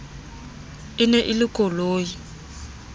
e ne e le koloi